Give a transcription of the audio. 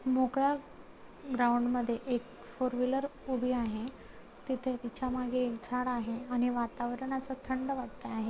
मोकळा ग्राऊंड मध्ये एक फोरव्हीलर उभी आहे तिथे तिच्या मागे एक झाड आहे आणि वातावरण अस थंड वाटत आहे.